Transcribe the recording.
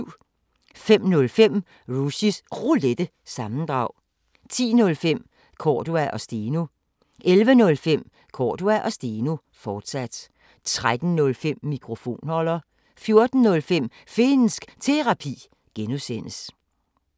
05:05: Rushys Roulette – sammendrag 10:05: Cordua & Steno 11:05: Cordua & Steno, fortsat 13:05: Mikrofonholder 14:05: Finnsk Terapi (G)